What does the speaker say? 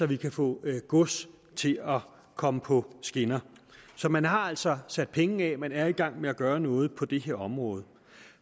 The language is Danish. vi kan få gods til at komme på skinner så man har altså sat pengene af man er i gang med at gøre noget på det her område